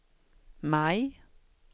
maj